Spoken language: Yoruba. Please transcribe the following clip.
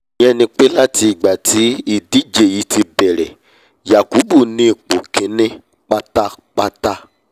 ìyẹn ni pé láti ìgbà tí ìdíje yìí ti bẹ̀rẹ̀ yakubu ni ipò kíní pátápátá